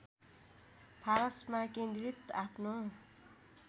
फारसमा केन्द्रित आफ्नो